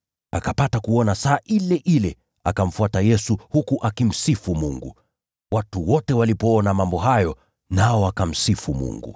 Akapata kuona saa ile ile, akamfuata Yesu, huku akimsifu Mungu. Watu wote walipoona mambo hayo, nao wakamsifu Mungu.